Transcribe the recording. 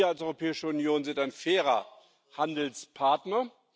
Wir als Europäische Union sind ein fairer Handelspartner.